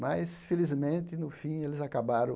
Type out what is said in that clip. Mas, felizmente, no fim, eles acabaram.